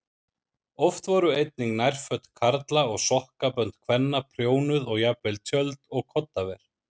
Oft voru einnig nærföt karla og sokkabönd kvenna prjónuð og jafnvel tjöld og koddaver.